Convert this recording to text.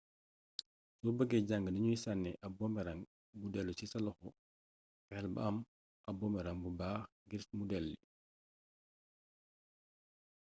so bëggee jàng nuñuy sànnee ab boomerang buy dellu ci sa loxo fexel ba am ab boomrang bu baax ngir mu delli